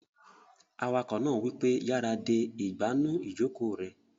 Awakọ̀ náà wípé, "yára de ìgbànú ìjòkó rẹ!"